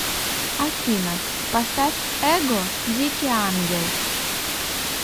афина поставь эго дикий ангел